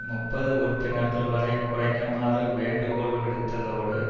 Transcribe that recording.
முப்பது உறுப்பினர்கள் வரை குறைக்குமாறு வேண்டுகோள் விடுத்ததோடு